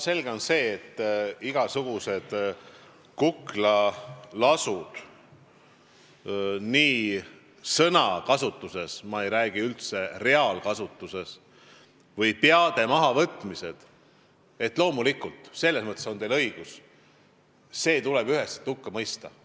Selge on see, et kui me räägime igasugustest kuklalaskudest või peade mahavõtmistest – ma ei räägi reaalsusest, vaid sellisest sõnakasutusest –, siis on teil loomulikult õigus, et see tuleb üheselt hukka mõista.